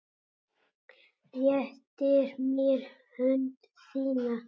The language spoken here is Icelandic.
Réttir mér hönd þína.